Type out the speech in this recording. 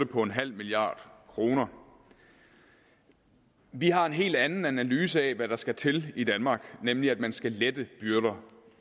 på en halv milliard kroner vi har en helt anden analyse af hvad der skal til i danmark nemlig at man skal lette byrderne